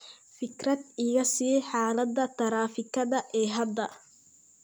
fikrad iga sii xaaladda taraafikada ee hadda